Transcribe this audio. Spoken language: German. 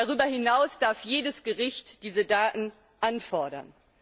Darüber hinaus darf jedes Gericht diese Daten anfordern.